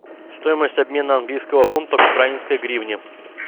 стоимость обмена английского фунта к украинской гривне